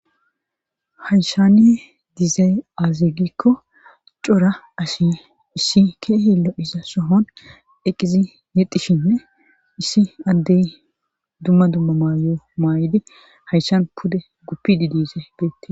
hayshane dizay aze gikko cora asi issi ke heelo iza sohon eqqizi yexishinne issi addey dumma dumma maayo maayidi hayshan pude guppidi diize beette